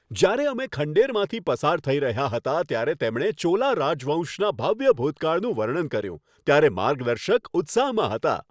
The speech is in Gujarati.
જ્યારે અમે ખંડેરમાંથી પસાર થઈ રહ્યા હતા ત્યારે તેમણે ચોલા રાજવંશના ભવ્ય ભૂતકાળનું વર્ણન કર્યું ત્યારે માર્ગદર્શક ઉત્સાહમાં હતા.